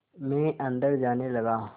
मैं अंदर जाने लगा